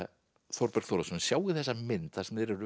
Þórberg Þórðarson sjáið þessa mynd þar sem þeir eru